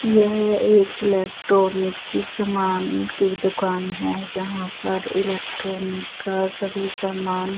यह एक इलेक्ट्रॉनिक की समान की दूकान हैं जहा पर इलेक्ट्रॉनिक का सभी समान--